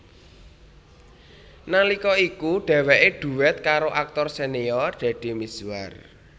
Nalika iku dhèwèké dhuét karo aktor senior Deddy Mizwar